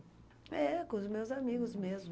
É, com os meus amigos mesmo.